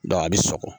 a bɛ sɔgɔ